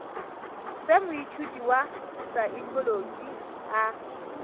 se moithuti wa saekholotši a